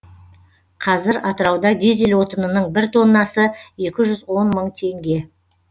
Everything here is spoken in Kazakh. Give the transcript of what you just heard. қазір атырауда дизель отынының бір тоннасы екі жүз он мың теңге